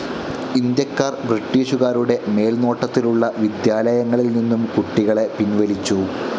ഇന്ത്യാക്കാർ ബ്രിട്ടീഷുകാരുടെ മേൽനോട്ടത്തിലുള്ള വിദ്യാലയങ്ങളിൽ നിന്നും കുട്ടികളെ പിൻവലിച്ചു.